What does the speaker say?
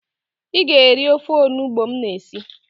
Ị ga-eri ofe onubo m na-esi